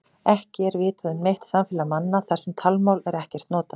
Ekki er vitað um neitt samfélag manna þar sem talmál er ekkert notað.